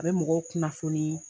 A bɛ mɔgɔw kunnafoni